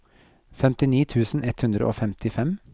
femtini tusen ett hundre og femtifem